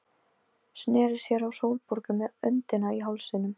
Sneri sér að Sólborgu með öndina í hálsinum.